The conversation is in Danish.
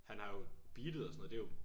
Han har jo beatet og sådan noget det er jo